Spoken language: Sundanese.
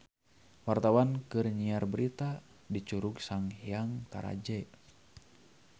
Wartawan keur nyiar berita di Curug Sanghyang Taraje